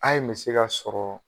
A yen me se ka sɔrɔ